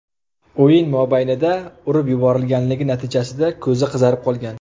o‘yin mobaynida urib yuborilganligi natijasida ko‘zi qizarib qolgan.